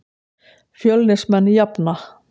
Fjölnismenn jafna.